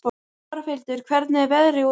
Torfhildur, hvernig er veðrið úti?